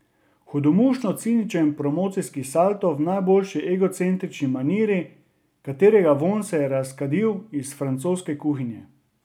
Hudomušno ciničen promocijski salto v najboljši egocentrični maniri, katerega vonj se je razkadil iz francoske kuhinje.